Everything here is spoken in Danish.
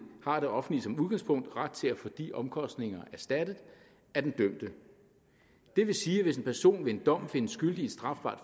har det offentlige som udgangspunkt ret til at få de omkostninger erstattet af den dømte det vil sige at hvis en person med en dom findes skyldig i et strafbart